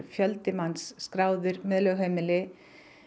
fjöldi manns skráður með lögheimili